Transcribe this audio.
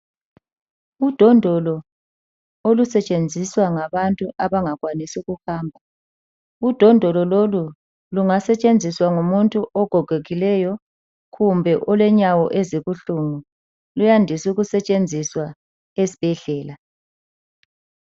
Udondolo olusetshenziswa ngabantu abangakhwanisi ukuhamba .Udondolo lolu lungasetshenziswa ngumuntu ogogekileyo kumbe olenyawo ezibuhlungu .Luyandise ukusetshenziswa esibhedlela.